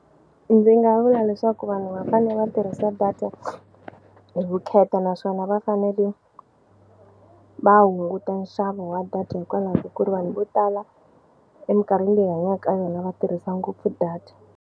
Ndzi nga vula leswaku vanhu va fane va tirhisa data hi vukheta naswona va fanele va hunguta nxavo wa data hikwalaho ka ku ri vanhu vo tala emikarhini leyi hi hanyaka ka yona va tirhisa ngopfu data.